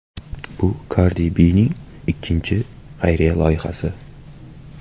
Bu Kardi Bining ikkinchi xayriya loyihasi.